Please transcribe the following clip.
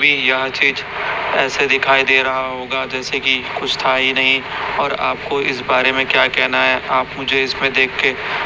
पे यह चीज ऐसे दिखाई दे रहा होगा जैसे कि कुछ था ही नहीं और आपको इस बारे में क्या कहना है आप मुझे इसमें देख के--